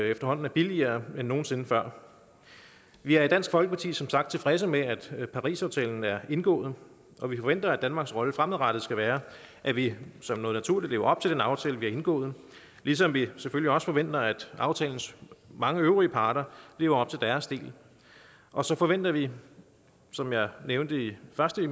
efterhånden er billigere end nogen sinde før vi er i dansk folkeparti som sagt tilfredse med at parisaftalen er indgået og vi forventer at danmarks rolle fremadrettet skal være at vi som noget naturligt lever op til den aftale vi har indgået ligesom vi selvfølgelig også forventer at aftalens mange øvrige parter lever op til deres del og så forventer vi som jeg nævnte først i